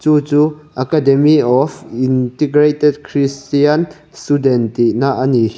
chu chu academy of integrated christian student tih na a ni.